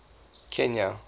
kenya